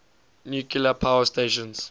nuclear power station